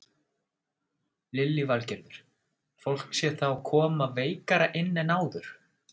Lillý Valgerður: Fólk sé þá koma veikara inn en áður?